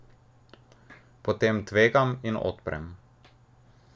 Potem tvegam in odprem.